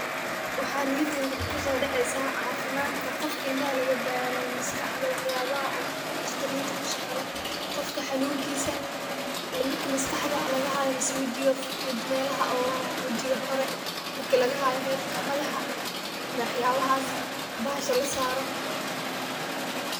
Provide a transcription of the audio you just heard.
Waxa niyadeyda kuso dhaceysa caafimaadka qofka indhaha laga barayo maskaxda wax yabaha oo dhaqtarinka kushaqa leh qofka xanuunkiisa illen marla maskaxda laga haayo miise wejiga melaha oo wejiga hore marka laga haayo hedka madaxa wax yabahaas bahasha lasaaro